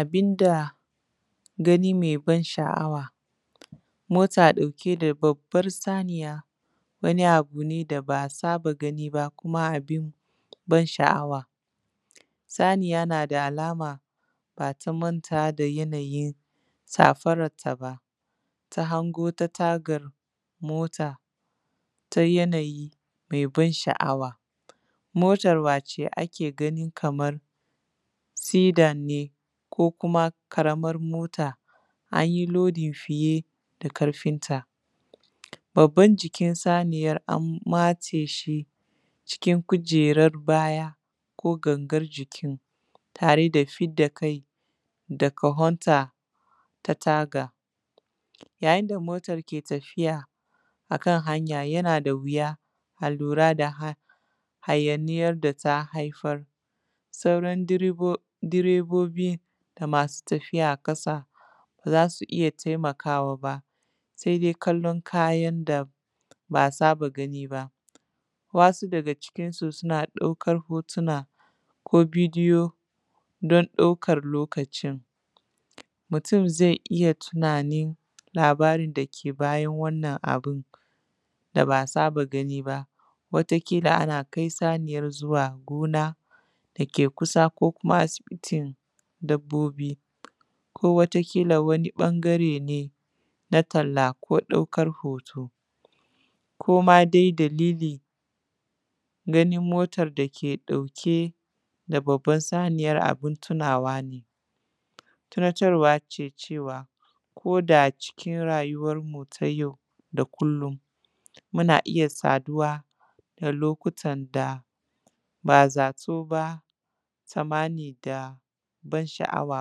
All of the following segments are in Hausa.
Abin da gani mai ban sha’awa, mota ɗauke da babban saniya wani abu ne da ba a saba gani ba kuma abin ban sha’awa saniya nada alama bata manta da yanayin safaran ta ba ta hango tagar mota ta yanayi mai ban sha’awa motar wacce ake ganin kamar sidan ne ko kuma karamar mota anyi lodi fiye da karfin ta, babbar jikin saniyar an matse shi cikin kujerar baya ko gangar jikin tare da fidda kai da kawonta ta taga, yayin da motar ke tafiya akan haya yana da wuya a lura da hayaniyar da ta haifar sauran direbobin da masu tafiya a kasa baza su iya taimawa ba sai dai kallon kayan da ba a saba gani ba wasu daga cikinsu suna ɗaukan hotuna ko bidiyo don ɗaukan lokacin mutum zai iya tunanin labarin dake bayan wannan abun da ba a saba gani ba wata kila ana kai saniyar zuwa gona dake kusa ko kuma asibitin dabbobi ko wata kila wani ɓangare ne na talla ko ɗaukan hoto ko ma dai dalili ganin motar dake ɗauke babbar saniyar abun tunawa ne tunarwa cewa koda cikin rayuwanmu ta yau da kullum muna iya saduwa da lokutan da ba a zato ba sanmani da ban sha’awa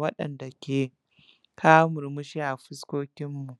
waɗanɗa ke kawo murmushi a fuskokinmu.